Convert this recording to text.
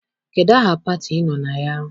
Kedụ aha pati I nọ na ya?